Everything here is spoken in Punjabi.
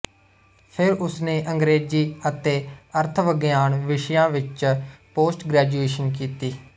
ਫਿਰ ਉਸ ਨੇ ਅੰਗਰੇਜ਼ੀ ਅਤੇ ਅਰਥਵਿਗਿਆਨ ਵਿਸ਼ਿਆਂ ਵਿੱਚ ਪੋਸਟਗ੍ਰੈਜੂਏਸ਼ਨ ਕੀਤੀ